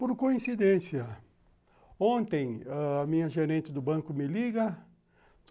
Por coincidência, ontem a minha gerente do banco me liga.